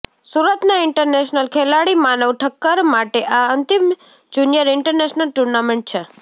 સુરતના ઇન્ટરનેશનલ ખેલાડી માનવ ઠક્કર માટે આ અંતિમ જુનિયર ઇન્ટરનેશનલ ટુર્નામેન્ટ છે